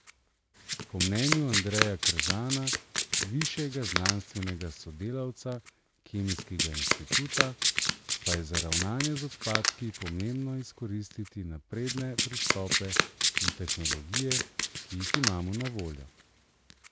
Po mnenju Andreja Kržana, višjega znanstvenega sodelavca Kemijskega inštituta, pa je za ravnanje z odpadki pomembno izkoristiti napredne pristope in tehnologije, ki jih imamo na voljo.